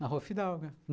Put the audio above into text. Na rua Fidalga.